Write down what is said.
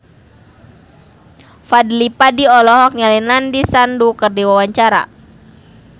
Fadly Padi olohok ningali Nandish Sandhu keur diwawancara